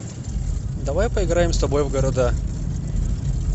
давай поиграем с тобой в города